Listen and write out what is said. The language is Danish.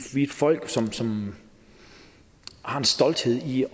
er et folk som som har en stolthed i